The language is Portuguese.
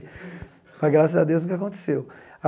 Mas, graças a Deus, nunca aconteceu.